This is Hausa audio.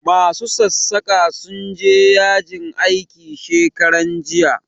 Ma su sassaƙa sun je yajin aiki shekaran jiya